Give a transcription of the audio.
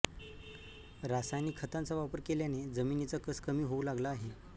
रासायनिक खतांचा वापर केल्याने जमिनीचा कस कमी होऊ लागला आहे